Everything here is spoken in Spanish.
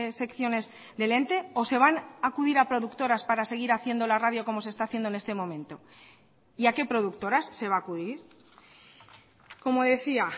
secciones del ente o se van acudir a productoras para seguir haciendo la radio como se está haciendo en este momento y a qué productoras se va a acudir como decía